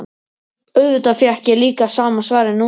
Auðvitað fékk ég líka sama svarið núna.